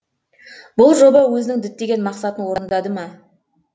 бұл жоба өзінің діттеген мақсатын орындады ма